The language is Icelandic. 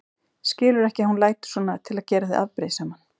Skilurðu ekki að hún lætur svona til að gera þig afbrýðisaman?